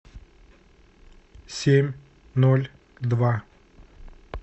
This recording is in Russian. семь ноль два